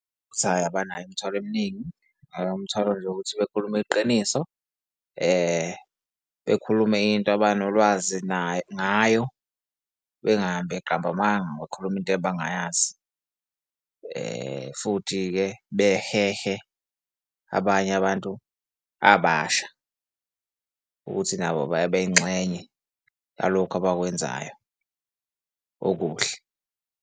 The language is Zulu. Ukuthi hhayi, abanayo imithwalo eminingi umthwalo nje ukuthi bakhulume iqiniso, bekhulume into abanolwazi nayo, ngayo bengahambi beqamba amanga, bekhuluma into abangayazi. Futhi-ke behehe abanye abantu abasha ukuthi nabo babe yingxenye ngalokhu abakwenzayo okuhle.